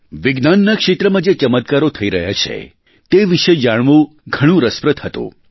વિજ્ઞાનના ક્ષેત્રમાં જે ચમત્કારો થઇ રહ્યાં છે તે વિષે જાણવું ઘણું રસપ્રદ હતું